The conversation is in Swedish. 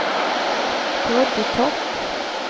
Broddetorp